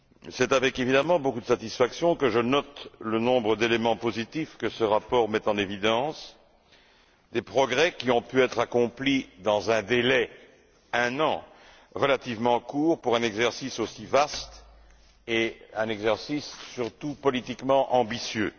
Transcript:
C'est évidemment avec beaucoup de satisfaction que je note le nombre d'éléments positifs que ce rapport met en évidence, des progrès qui ont pu être accomplis dans un délai d'un an, ce qui est relativement court pour un exercice aussi vaste et surtout politiquement ambitieux.